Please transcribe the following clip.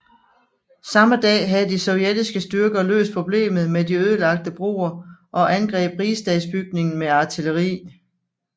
Samme dag havde de sovjetiske styrker løst problemet med de ødelagte broer og angreb Rigsdagsbygningen med artilleri